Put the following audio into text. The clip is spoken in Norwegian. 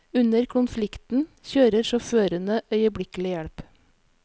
Under konflikten kjører sjåførene øyeblikkelig hjelp.